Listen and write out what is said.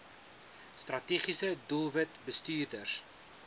strategiese doelwit bestuurders